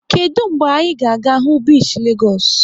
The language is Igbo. Kedụ mgbe anyị ga-aga hụ bishi Legoosu?